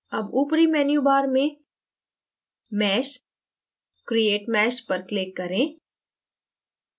अब ऊपरी menu bar में mesh>> create mesh पर click करें